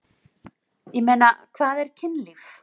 Ég meina, hvað er kynlíf?